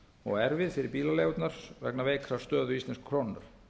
og erfið fyrir bílaleigurnar vegna veikrar stöðu íslensku krónunnar